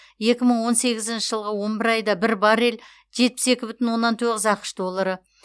екі мың он сегізінші жылғы он бір айда бір баррель жетпіс екі бүтін оннан тоғыз ақш доллары